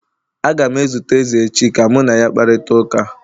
Aga m ezute eze echi ka mụ na ya kparịta ụka